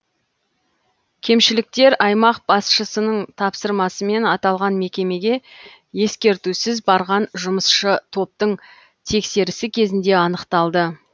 кемшіліктер аймақ басшысының тапсырмасымен аталған мекемеге ескертусіз барған жұмысшы топтың тексерісі кезінде анықталды